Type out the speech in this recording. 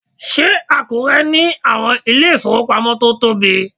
Ṣé Àkúrẹ́ ní àwọn ilé ìfowópamọ́ tó tóbi?